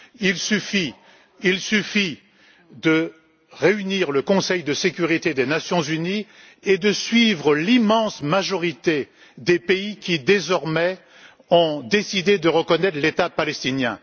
Il suffit de réunir le Conseil de sécurité des Nations unies et de suivre l'immense majorité des pays qui, désormais, ont décidé de reconnaître l'État palestinien.